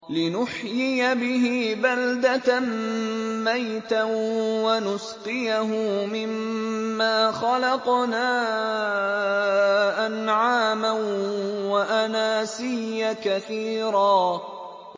لِّنُحْيِيَ بِهِ بَلْدَةً مَّيْتًا وَنُسْقِيَهُ مِمَّا خَلَقْنَا أَنْعَامًا وَأَنَاسِيَّ كَثِيرًا